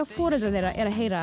foreldrar þeirra eru að heyra